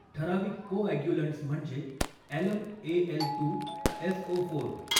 ठराविक कोॲग्युलंट्स म्हणजे alum AL two SO चार